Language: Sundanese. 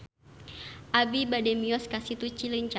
Abi bade mios ka Situ Cileunca